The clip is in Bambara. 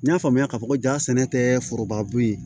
N y'a faamuya k'a fɔ ko jaa sɛnɛ tɛ foroba bon ye